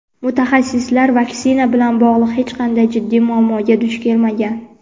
mutaxassislar vaksina bilan bog‘liq hech qanday jiddiy muammoga duch kelmagan.